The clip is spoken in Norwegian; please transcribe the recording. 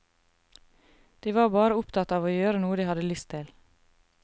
De var bare opptatt av å gjøre noe de hadde lyst til.